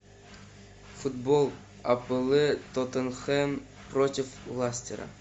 футбол апл тоттенхэм против лестера